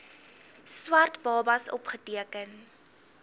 swart babas opgeteken